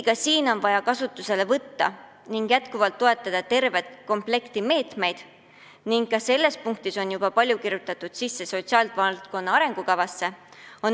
Ka sel puhul on vaja kasutusele võtta ning jätkuvalt toetada tervet komplekti meetmeid, millest paljud on sisse kirjutatud sotsiaalvaldkonna arengukavasse.